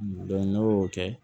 n'o y'o kɛ